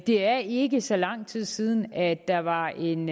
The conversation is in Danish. det er ikke så lang tid siden at der var en